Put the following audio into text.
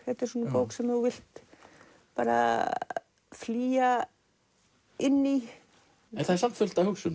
þetta er svona bók sem þú vilt bara flýja inn í en það er samt fullt af hugsun